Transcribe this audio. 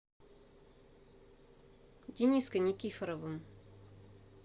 дениской никифоровым